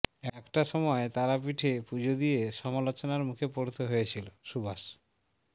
একটা সময় তারাপীঠে পুজো দিয়ে সমালোচনার মুখে পড়তে হয়েছিল সুভাষ